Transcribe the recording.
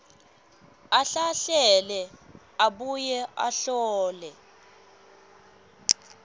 ahlahlele abuye ahlole